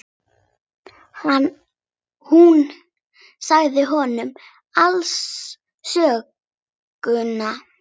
Hún sagði honum alla söguna.